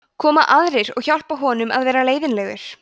koma aðrir og hjálpa honum að vera leiðinlegur